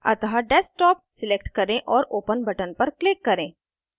अतः desktop select करें और open button पर click करें